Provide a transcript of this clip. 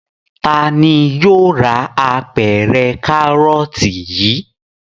Ta ni yóò ra apẹ̀rẹ̀ kárọ́tì yìí?